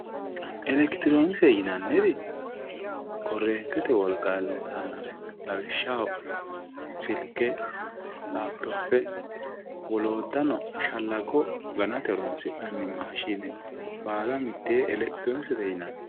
elekitiroonikiste yinanniri korreentete wolqanni loosannore lawishshaho, silke, lapitoppe woloottanno shallaggo ganate horonsi'nanni maashine baala mitteenni elekitiroonikisete yinanni.